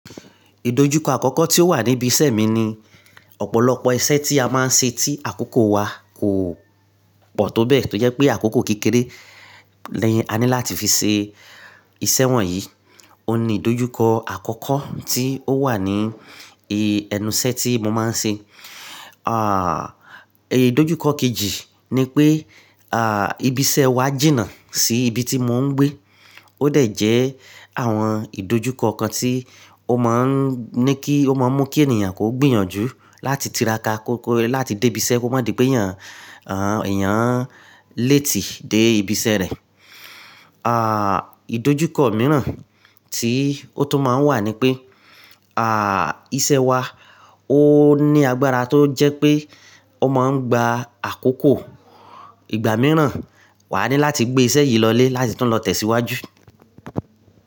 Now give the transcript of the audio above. Ìdojúkọ àkọ́kọ́ tí ó wà níbi iṣẹ́ mi ni ọ̀pọ̀lọpọ̀ iṣẹ́ tí a máa ń ṣe tí àkókò wa kò pọ̀ tó bẹ́ẹ̀, tó jẹ́ pé àkókò kékeré la ní láti fi ṣe iṣẹ́ wọ̀nyí. Ó ní ìdojúkọ àkọ́kọ́ tí ó wà ní ẹnu ìṣẹ́ tí mo máa ń ṣe. Ìdojúkọ kejì ni pé ibi iṣẹ́ wa jìnnà sí ibi tí mò ń gbé. Ó dẹ̀ jẹ́ àwọn ìdojúkọ kan tí ó máa ń mú kí ènìyàn kó gbìyànjú láti tiraka láti dé ibi iṣẹ́ kó má di pé ìyán lati i dé ibi iṣẹ́ rẹ̀. À, ìdojúkọ mìíràn tí ó tún máa ń wà ni pé, à, iṣẹ́ wa ó ní agbára tó jẹ́ pé ó máa ń gba àkókò ìgbà mìíràn. Wà á ní láti gbé iṣẹ́ yìí lọlé láti tún lọ tẹ̀síwájú.